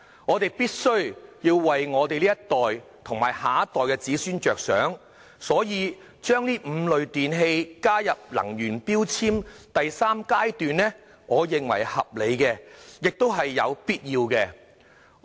我們必須為這一代和下一代着想，因此，把這5類電器納入能源效益標籤計劃第三階段，我認為合理而必要。